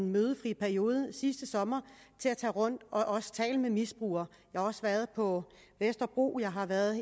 mødefri periode sidste sommer til at tage rundt og også tale med misbrugere jeg har også været på vesterbro jeg har været